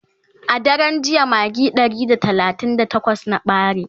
a daran jiya magi Ɗari da talatin da takwas na ɓare